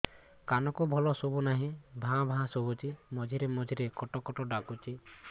କାନକୁ ଭଲ ଶୁଭୁ ନାହିଁ ଭାଆ ଭାଆ ଶୁଭୁଚି ମଝିରେ ମଝିରେ କଟ କଟ ଡାକୁଚି